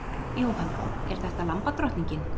Jóhanna: Er þetta lambadrottningin?